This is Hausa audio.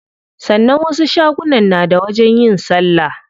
Sannan wasu shagunan na da wajen yin salla.